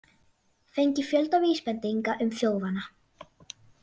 Fengið fjölda vísbendinga um þjófana